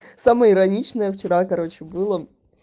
самое ироничное вчера короче была